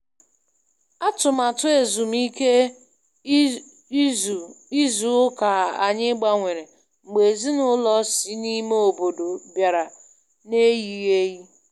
Atụmatụ ezumike ịzụ ịzụ ụka anyị gbanwere, mgbe ezinaụlọ si n'ime ọbọdọ bịara n'eyighị eyi.